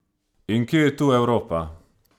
In kje je tu Evropa?